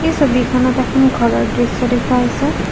এই ছবিখনত এখন ঘৰৰ দৃশ্য দেখুওৱা হৈছে।